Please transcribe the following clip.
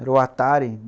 Era o Atari.